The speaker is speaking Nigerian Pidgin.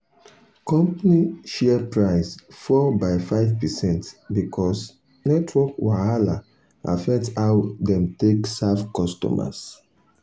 company share price fall by 5 percent because network wahala affect how dem take serve customers.